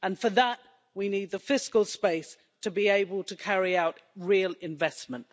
For that, we need the fiscal space to be able to carry out real investment.